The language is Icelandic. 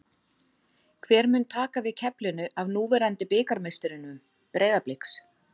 Hver mun taka við keflinu af núverandi bikarmeisturum Breiðabliks?